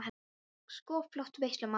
Þetta er sko flott veisla, maður!